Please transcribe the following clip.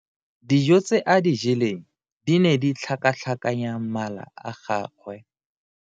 Dijo tse a di jeleng di ne di tlhakatlhakanya mala a gagwe.